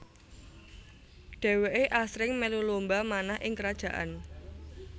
Dheweke asring melu lomba manah ing kerajaan